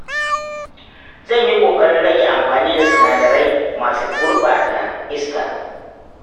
Zan yi ƙoƙarin rage amfani da sinadarai masu gurɓata iska.